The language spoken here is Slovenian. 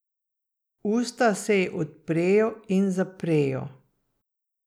Usta se ji odprejo in zaprejo.